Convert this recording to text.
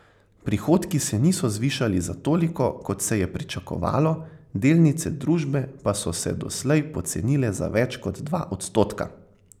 Prihodki se niso zvišali za toliko, kot se je pričakovalo, delnice družbe pa so se doslej pocenile za več kot dva odstotka.